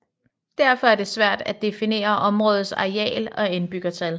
Derfor er det svært af definere områdets areal og indbyggertal